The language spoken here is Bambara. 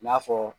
I n'a fɔ